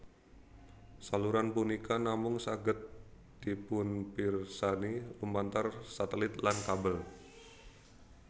Saluran punika namung saged dipunpirsani lumantar satelit lan kabel